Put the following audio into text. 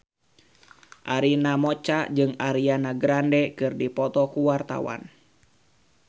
Arina Mocca jeung Ariana Grande keur dipoto ku wartawan